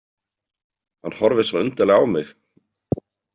Hann horfir svo undarlega á mig.